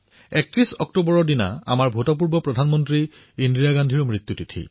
৩১ অক্টোবৰত আমাৰ ভূতপূৰ্ব প্ৰধানমন্ত্ৰী শ্ৰীমতী ইন্দিৰা গান্ধীৰো পুণ্যতিথি